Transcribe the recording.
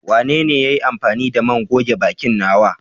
Wanene ya yi amfani da man goge bakin nawa?